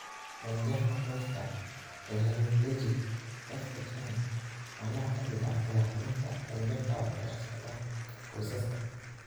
Dhanjafka qoyska ee hemiplegic (FHM) waa nooc ka mid ah madax xanuunka dhanjafka oo ka dhex socda qoysaska.